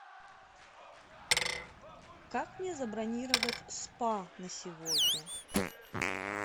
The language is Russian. как мне забронировать спа на сегодня